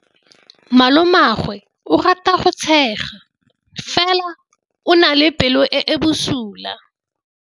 Malomagwe o rata go tshega fela o na le pelo e e bosula.